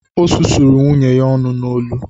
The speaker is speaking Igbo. Ọ susuru nwunye ya ọnụ n’olu